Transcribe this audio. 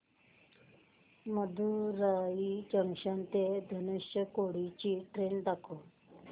Madurai junction ते धनुषकोडी ची train दाखव